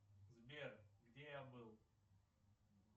сбер где я был